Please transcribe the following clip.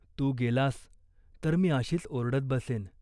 तू गेलास तर मी अशीच ओरडत बसेन.